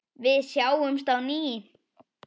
Við sjáumst á ný.